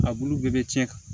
A bulu bɛɛ bɛ cɛn